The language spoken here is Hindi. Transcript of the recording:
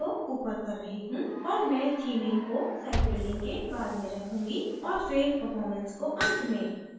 और मैं theming को site building के बाद रखूँगी और फिर performance को and में